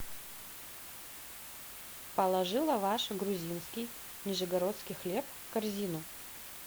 положи лаваш грузинский нижегородский хлеб в корзину